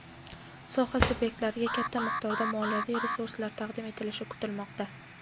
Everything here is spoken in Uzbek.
soha subyektlariga katta miqdorda moliyaviy resurslar taqdim etilishi kutilmoqda.